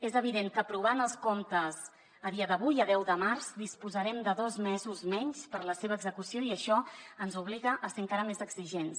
és evident que aprovant els comptes a dia d’avui a deu de març disposarem de dos mesos menys per a la seva execució i això ens obliga a ser encara més exigents